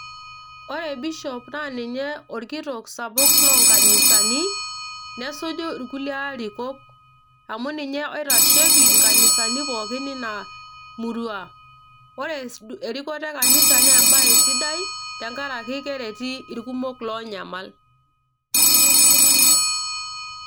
Ore bishop naa ninye orkitok sapuk loonkanisani nesuju irkulie arikok amu ninye oitasheki inkanisani pookin ina murua, ore erikoto e kanisa naa embaye sidai tenkarake kereti irkumok loonyamal.